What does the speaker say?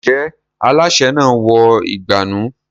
Ǹjẹ́ alásè náà wọ ìgbànú?